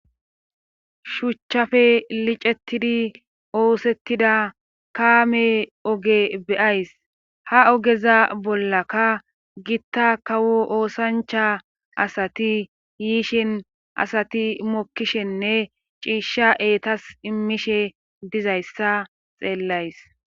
Shuuchchafe licettidi oosettida kaame oge beyays ha ogeza bollaka gitta kawo oosancha asati yiishin asati mokkishenne ciishsha eetas immishe dizayssa xeellays.